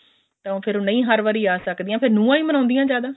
ਤਾਂ ਫ਼ੇਰ ਨਹੀਂ ਹਰ ਵਾਰੀ ਆ ਸਕਦੀਆਂ